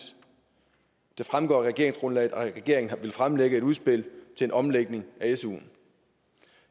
det fremgår af regeringsgrundlaget at regeringen vil fremlægge et udspil til en omlægning af suen